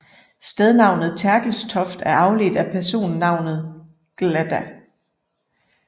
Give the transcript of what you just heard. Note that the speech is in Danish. Stednavnet Terkelstoft er afledt af personnavnet glda